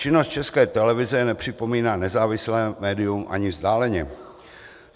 Činnost České televize nepřipomíná nezávislé médium ani vzdáleně.